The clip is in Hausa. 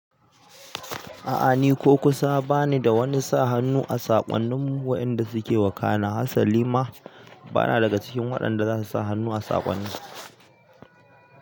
A'a ni ko kusa bani da wani sa hannu a saƙonnin wayanda suke wakana. Hassa lima bana na daga cikin waɗanda zasu sa hannu a saƙonnin.